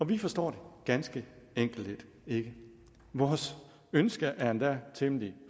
vi forstår det ganske enkelt ikke vores ønske er endda temmelig